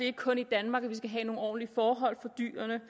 ikke kun i danmark vi skal have nogle ordentlige forhold for dyrene